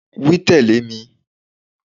Wí tẹ̀lé mi